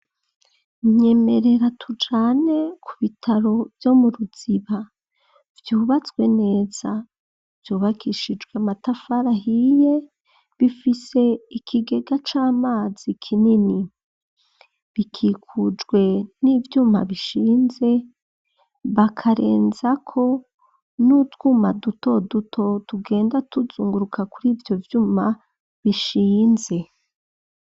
Nyemerera tujane ku bitaro vyo mu ruziba vyubatswe neza, vyubakishijwe matafarahiye bifise ikigega c'amazi kinini, bikikujwe n'ivyuma bishinze bakarenza ko n'utwuma dutoduto dugenda tuzunguruka kuri ivyo vyuma bishinze.